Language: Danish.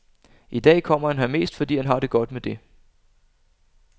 I dag kommer han her mest, fordi han har det godt med det.